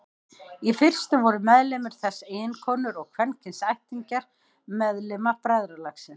Í fyrstu voru meðlimir þess eiginkonur og kvenkyns ættingjar meðlima bræðralagsins.